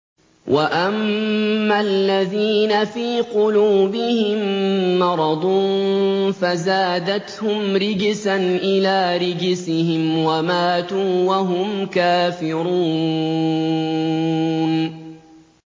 وَأَمَّا الَّذِينَ فِي قُلُوبِهِم مَّرَضٌ فَزَادَتْهُمْ رِجْسًا إِلَىٰ رِجْسِهِمْ وَمَاتُوا وَهُمْ كَافِرُونَ